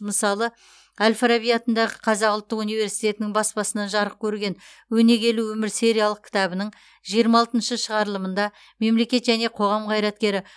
мысалы әл фараби атындағы қазақ ұлттық университетінің баспасынан жарық көрген өнегелі өмір сериялық кітабының жиырма алтыншы шығарылымында мемлекет және қоғам қайраткері